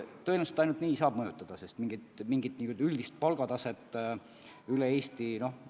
Tõenäoliselt ainult nii saab mõjutada, mingit üldist palgataset üle Eesti kehtestada ei saa.